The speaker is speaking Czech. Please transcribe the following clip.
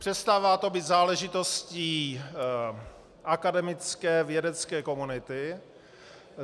Přestává to být záležitostí akademické vědecké komunity.